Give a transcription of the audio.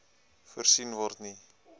voorsien word nie